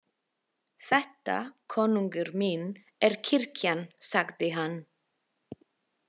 Þetta, konungur minn, er kirkjan, sagði hann.